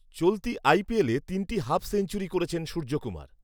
চলতি আইপিএলে তিনটি হাফ সেঞ্চুরি করেছেন সূর্যকুমার